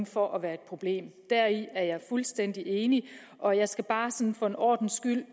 for at være et problem deri er jeg fuldstændig enig og jeg skal bare sådan for en ordens skyld